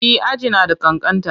E, aji na da ƙanƙanta.